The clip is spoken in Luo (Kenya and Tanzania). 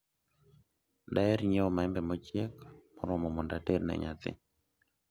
daher nyiewo maembe mochiek moromo mondo ater ne nyathi